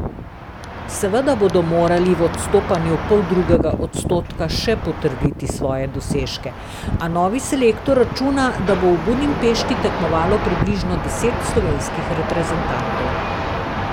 Seveda bodo morali v odstopanju poldrugega odstotka še potrditi svoje dosežke, a novi selektor računa, da bo v Budimpešti tekmovalo približno deset slovenskih reprezentantov.